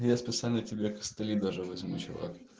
я специально тебе костыли даже возьму чувак